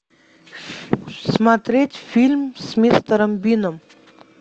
смотреть фильм с мистером бином